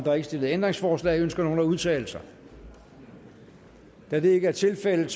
er ikke stillet ændringsforslag ønsker nogen at udtale sig da det ikke er tilfældet